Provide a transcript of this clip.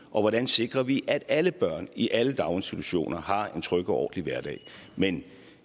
og hvordan sikrer vi at alle børn i alle daginstitutioner har en tryg og ordentlig hverdag men